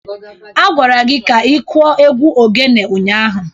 Agwara gi ka ikuo égwù oghene ụnyahụ!